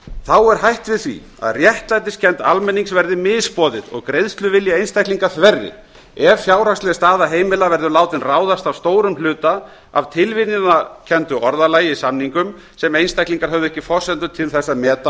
þá er hætt við því að réttlætiskennd almennings verði misboðið og greiðsluvilji einstaklinga þverri ef fjárhagsleg staða heimila verður látin ráðast að stórum hluta af tilviljunarkenndu orðalagi í samningum sem einstaklingar höfðu ekki forsendur til þess að meta á